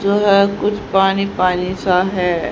जो है कुछ पानी पानी सा है।